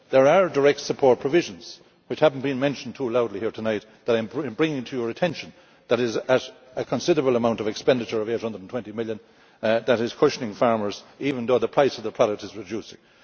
There are direct support provisions which have not been mentioned too loudly here tonight, but I am bringing to your attention the fact that a considerable amount of expenditure EUR 820 million is cushioning farmers, even though the price of the product is reducing.